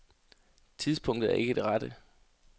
Tidspunktet er ikke det rette.